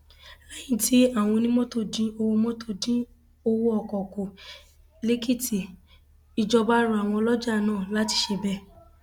lẹyìn tí àwọn onímọtò dín onímọtò dín owó ọkọ kù lèkìtì ìjọba rọ àwọn ọlọjà náà láti ṣe bẹẹ